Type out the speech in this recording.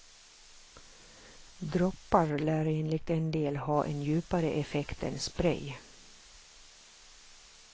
Droppar lär enligt en del ha en djupare effekt än spray.